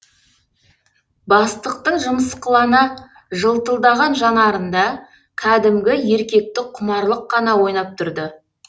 бастықтың жымысқылана жылтылдаған жанарында кәдімгі еркектік құмарлық қана ойнап тұрды